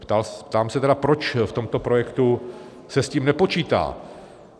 Ptám se tedy, proč v tomto projektu se s tím nepočítá?